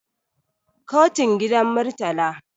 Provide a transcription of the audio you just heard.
katun gidan murtala